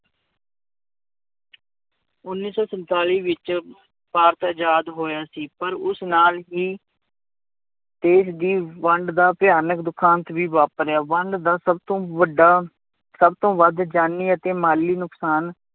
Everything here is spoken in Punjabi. ਉੱਨੀ ਸੌ ਸੰਤਾਲੀ ਵਿੱਚ ਭਾਰਤ ਆਜ਼ਾਦ ਹੋਇਆ ਸੀ ਪਰ ਉਸ ਨਾਲ ਹੀ ਦੇਸ ਦੀ ਵੰਡ ਦਾ ਭਿਆਨਕ ਦੁਖਾਂਤ ਵੀ ਵਾਪਰਿਆ ਵੰਡ ਦਾ ਸਭ ਤੋਂ ਵੱਡਾ, ਸਭ ਤੋਂ ਵੱਧ ਜਾਨੀ ਅਤੇ ਮਾਲੀ ਨੁਕਸਾਨ